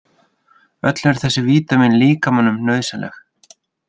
Öll eru þessi vítamín líkamanum nauðsynleg.